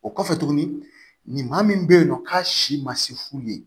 O kɔfɛ tuguni nin maa min bɛ yen nɔ k'a si ma se fu ye